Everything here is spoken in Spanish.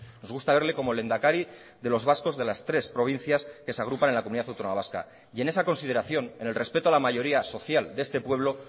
nos gusta verle como lehendakari de los vascos de las tres provincias que se agrupan en la comunidad autónoma vasca y en esa consideración en el respeto a la mayoría social de este pueblo